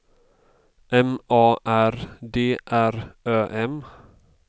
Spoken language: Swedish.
M A R D R Ö M